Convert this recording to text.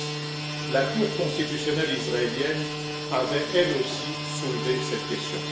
du reste, la cour constitutionnelle israélienne avait, elle aussi, soulevé cette question.